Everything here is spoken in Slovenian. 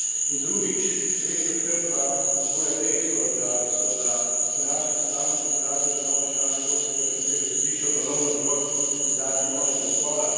In drugič, še večjo skrb pa vzbuja dejstvo, da so na današnjem seznamu kandidatov za nove člane Evropskega računskega sodišča ponovno zgolj kandidati moškega spola.